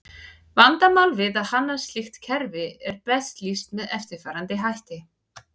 Vandamál við að hanna slíkt kerfi er best lýst með eftirfarandi hætti.